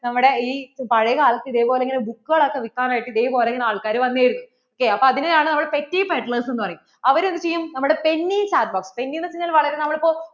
നമ്മുടെ ഈ പഴയ കാലത്ത് ഇതേപോലിങ്ങനെ book കൾ ഒക്കെ വിൽക്കാൻ ആയിട്ട് ഇതേപോലെ ഇങ്ങനെ ആള്‍ക്കാര്‍ വന്നിരുന്നു അപ്പോ അതിനെ ആണ് petti padlers എന്ന് പറയും അവർ എന്ത് ചെയ്യും നമ്മടെ penny top uppenny എന്ന് വെച്ചാൽ വളരെ നമ്മൾ ഇപ്പൊ